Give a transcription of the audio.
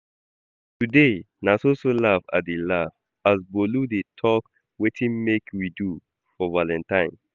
Today na so so laugh I dey laugh as Bolu dey talk wetin she wan make we do for valentine